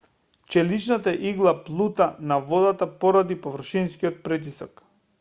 челичната игла плута на водата поради површинскиот притисок